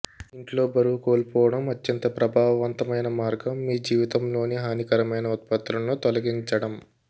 ఇంట్లో బరువు కోల్పోవడం అత్యంత ప్రభావవంతమైన మార్గం మీ జీవితంలోని హానికరమైన ఉత్పత్తులను తొలగించడం